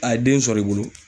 A ye den sɔrɔ i bolo